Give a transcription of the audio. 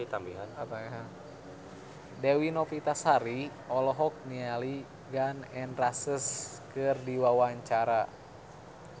Dewi Novitasari olohok ningali Gun N Roses keur diwawancara